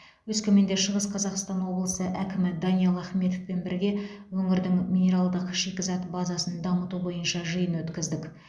өскеменде шығыс қазақстан облысы әкімі даниал ахметовпен бірге өңірдің минералдық шикізат базасын дамыту бойынша жиын өткіздік